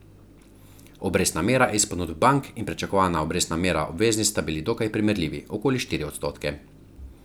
Obrestna mera iz ponudb bank in pričakovana obrestna mera obveznic sta bili dokaj primerljivi, okoli štiri odstotke.